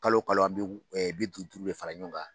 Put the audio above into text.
Kalo kalo an bi bi duuru duuru de fara ɲɔn kan.